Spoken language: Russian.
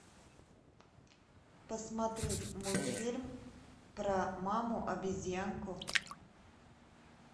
посмотреть мультфильм про маму обезьянку